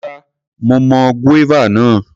Rárá, mo mọ guava náà.